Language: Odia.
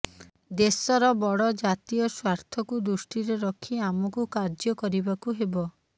ଦେଶର ବଡ଼ ଜାତୀୟ ସ୍ବାର୍ଥକୁ ଦୃଷ୍ଟିରେ ରଖି ଆମକୁ କାର୍ଯ୍ୟ କରିବାକୁ ହେବ